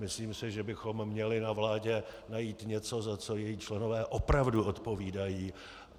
Myslím si, že bychom měli na vládě najít něco, za co její členové opravdu odpovídají.